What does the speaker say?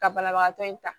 Ka banabagatɔ in ta